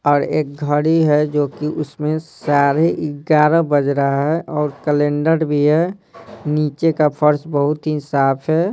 और एक घड़ी है जो कि उसमें साढ़े ग्यारह बज रहा है और कैलेंडर भी है नीचे का फर्स बहुत ही साफ है।